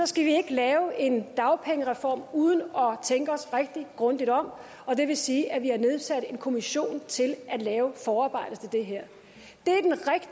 skal vi ikke lave en dagpengereform uden at tænke os rigtig grundigt om og det vil sige at vi har nedsat en kommission til at lave forarbejdet til det her